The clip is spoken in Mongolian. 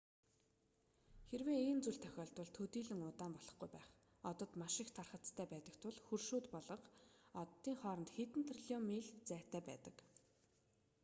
хэрэв ийм зүйл тохиолдвол төдийлөн удаан болохгүй байх одод маш их тархацтай байдаг тул хөршүүд болох оддын хооронд хэдэн триллион миль зайтай байдаг